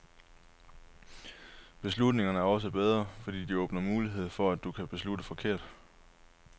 Beslutninger er også bedre, fordi de åbner mulighed for, at du kan beslutte forkert.